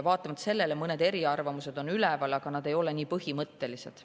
Vaatamata sellele mõned eriarvamused on üleval, aga need ei ole nii põhimõttelised.